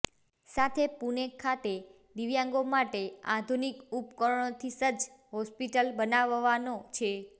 સાથે પૂણે ખાતે દિવ્યાંગો માટે આધુનિક ઉપકરણોથી સજ્જ હોસ્પિટલ બનાવવાનો છે